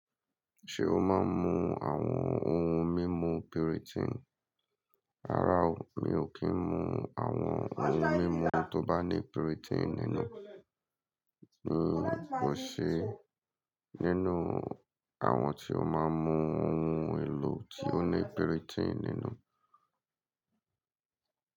Ṣé o máa ń mu àwọn ohun mímu piritin? Rárá o, mi ò kí ń mu àwọn ohun mímu tó bá ní piritin nínú. N koṣe nínú àwọn tí ó máa ń mu ohun èlò tí ó ní piritin nínú?